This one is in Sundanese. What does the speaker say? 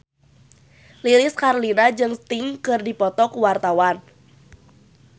Lilis Karlina jeung Sting keur dipoto ku wartawan